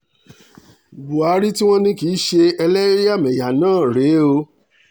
buhari tí wọ́n ní kì í ṣe ẹlẹ́yàmẹ̀yà náà rèé o